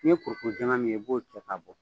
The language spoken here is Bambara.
N'i ye kurukuru jɛman min ye i b'o cɛ ka bɔ